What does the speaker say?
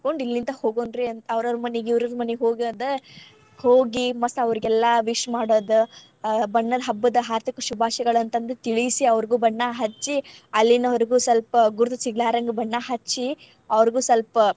ಇಲ್ಲಿಂದ್ ಹೋಗೋನ್ರಿ. ಅವರೌರ್ ಮನೀ ಇವರೀವ್ರ್ ಮನಿಗ್ ಹೋಗೋದ್ ಹೋಗಿ ಮತ್ ಅವ್ರಿಗೆಲ್ಲಾ wish ಮಾಡೋದ್, ಬಣ್ಣದ್ ಹಬ್ಬದ್ ಹಾರ್ದಿಕ ಶುಭಾಶಯಗಳಂತ ಅಂದ್ ತಿಳಿಸಿ ಅವ್ರಿಗೂ ಬಣ್ಣ ಹಚ್ಚಿ ಅಲ್ಲಿನವರ್ಗು ಸ್ವಲ್ಪ್ ಗುರ್ತ್ ಸಿಗಲಾರದಂಗ್ ಬಣ್ಣ ಹಚ್ಚಿ ಅವರ್ಗು ಸ್ವಲ್ಪ.